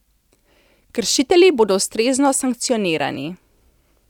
Kršitelji bodo ustrezno sankcionirani.